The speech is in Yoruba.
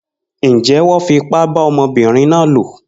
Njé wón fipá bá ọmọbínrin náà lò?